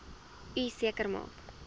u seker maak